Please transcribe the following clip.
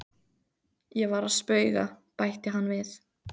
Ég var að spauga, bætti hann við.